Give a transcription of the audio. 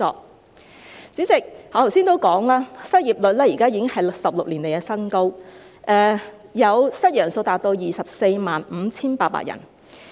代理主席，我剛才提到，失業率現在已是16年來的新高，失業人數達 245,800 人。